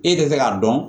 E tɛ se k'a dɔn